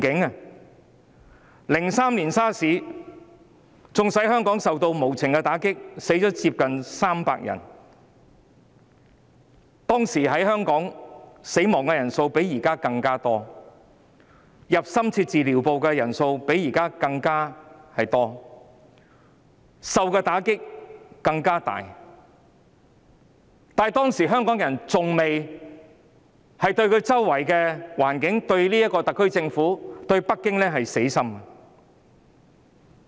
2003年 SARS 爆發，縱使香港受到無情打擊，死亡人數接近300人，當時的死亡人數和進入深切治療部的人數較現時更多，受到的打擊更大，但當時香港人對周圍的環境、特區政府和北京仍未死心。